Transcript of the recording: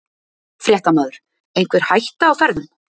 Fréttamaður: Einhver hætta á ferðum?